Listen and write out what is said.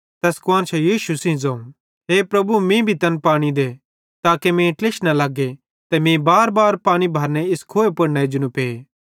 तैस कुआन्शां यीशु जो ज़ोवं हे प्रभु मीं भी तैन पानी दे ताके मीं ट्लिश न लग्गे ते मीं बारबार पानी भरने इस खुहे पुड़ न एजनू पे